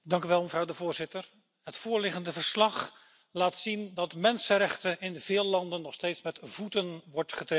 Voorzitter, het voorliggende verslag laat zien dat mensenrechten in veel landen nog steeds met voeten worden getreden.